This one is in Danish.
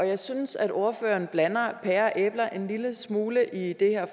jeg synes at ordføreren blander pærer og æbler en lille smule i det her